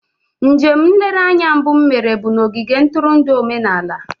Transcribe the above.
Njem nlereanya mbụ m mere bụ na ogige ntụrụndụ omenala.